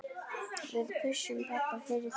Við pössum pabba fyrir þig.